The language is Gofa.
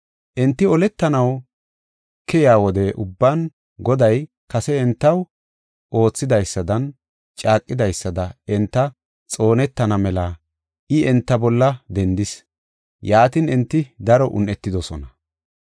Enti oletanaw keyiya wode ubban, Goday kase entaw odidaysadanne caaqidaysada enti xoonetana mela I enta bolla dendis. Yaatin, enti daro un7etidosona.